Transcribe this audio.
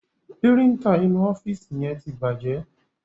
Píríńtà inú ọ́fíìsì yẹn ti bàjẹ́.